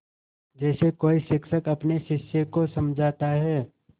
जैसे कोई शिक्षक अपने शिष्य को समझाता है